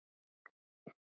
Bygging þess er langt komin.